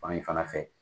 Fan in fana fɛ